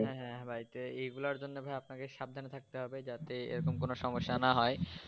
হ্যা হ্যা এইগুলার জন্য ভাই আপনাকে সাবধান থাকতে হবে যে এরকম কোনো সমস্যা না হয়